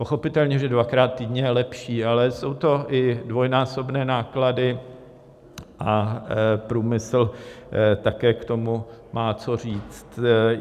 Pochopitelně že dvakrát týdně je lepší, ale jsou to i dvojnásobné náklady a průmysl také k tomu má co říct.